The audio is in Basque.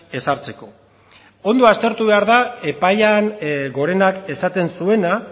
ezartzeko ondo aztertu behar da epaia gorenak esaten zuena